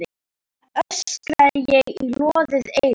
öskraði ég í loðið eyra.